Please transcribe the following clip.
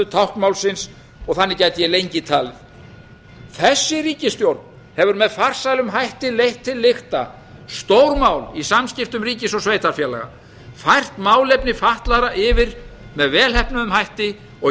táknmálsins og þannig gæti ég lengi talið þessi ríkisstjórn hefur með farsælum hætti leitt til lykta stórmál í samskiptum ríkis og sveitarfélaga fært málefni fatlaðra yfir með velheppnuðum hætti og